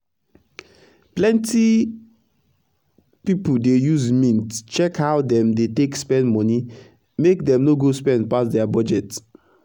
plenti pipu dey use mint check how dem dey take spend moni make dem no go spend pass dia budget.